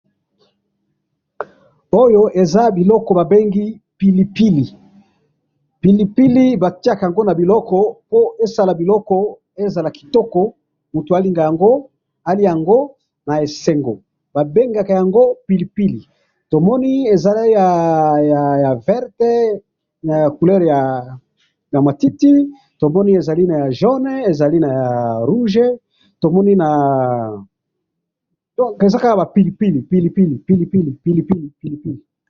oyo eza biloko ba bengi pilipili, pilipili batiyaka yango na biloko po esala biloko ezala kitoko ,mutu alinga yango aliya yango na esengo babenga yango pilipili, tomoni ezali ya couleur verte na couleur ya matiti tomoni ezali naya jaune ezali naya rouge donc eza kaka pilipili pilipili pilipili